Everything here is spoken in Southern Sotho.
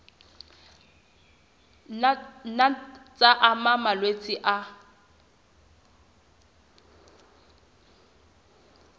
nna tsa ama malwetse a